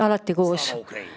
Slava Ukraini!